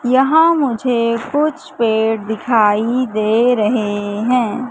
यहां मुझे कुछ पेड़ दिखाई दे रहे हैं।